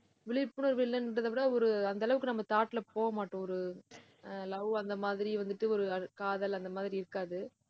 விழிப்புணர்வு இல்லைன்றதை விட ஒரு அந்த அளவுக்கு நம்ம thought ல போக மாட்டோம். ஒரு ஆஹ் love அந்த மாதிரி வந்துட்டு ஒரு காதல் அந்த மாதிரி இருக்காது